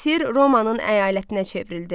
Misir Romanın əyalətinə çevrildi.